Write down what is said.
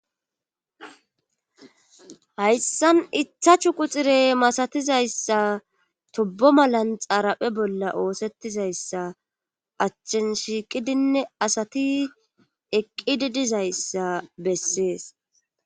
hayssan itha chu quxire masatizayssa tobbo malan xaaraphe bolla oosettizayssa achchen shiiqidinne asati eqqidi dizayssa bessees